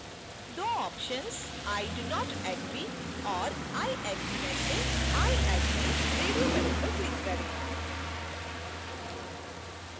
2 options i do not agree और i agree में से i agree radio button पर click करें